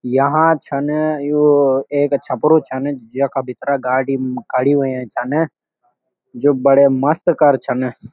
यहाँ छन यो एक छपरू छन जेका भीतरा गाडी खड़ी हुईं छन जो बड़े मस्त कर छन।